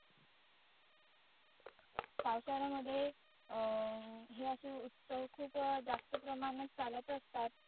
पावसाळ्यामध्ये अं हे असे उत्सव खुप जास्त प्रमाणात चालत असतात.